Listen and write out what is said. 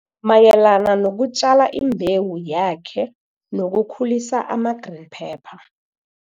mayelana nokutjala imbewu yakhe nokukhulisa ama-green pepper.